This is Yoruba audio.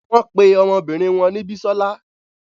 Wón pe ọmọbinrin wọn ni Bisola